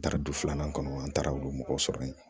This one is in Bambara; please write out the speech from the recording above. Daradu filanan kɔnɔ an taara olu mɔgɔw sɔrɔ yen